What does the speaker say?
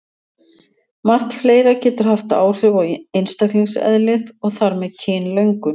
Margt fleira getur haft áhrif á einstaklingseðlið og þar með kynlöngun.